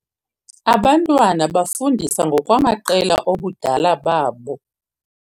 Abantwana bafundiswa ngokwamaqela obudala babo.